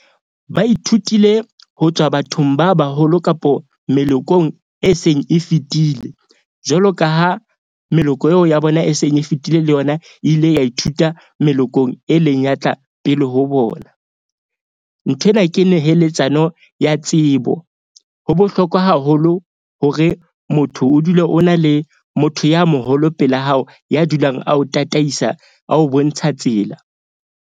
Ba ithutile ho tswa bathong ba baholo kapo melekong e seng e fetile. Jwalo ka ho meloko eo ya bona, e seng e fetile le yona e ile ya ithuta melokong e leng ya tla pele ho bona. Nthwena ke neheletsano ya tsebo. Ho bohlokwa haholo hore motho o dule o na le motho ya moholo pela hao ya dulang a ho tataisa a ho bontsha tsela.